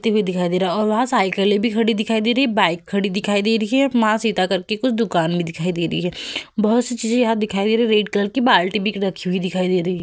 व्यक्ति भी दिखाई दे रहा है और वहाँ साइकिलें भी दिखाई दे रही है। बाइक खड़ी दिखाई दे रही है। मां सीता कर के कुछ दुकान भी दिखाई दे रही है। बोहोत सी चीजें यहां दिखाई दे रही है। रेड कलर की बाल्टी बिक रखी हुई दिखाई दे रही है।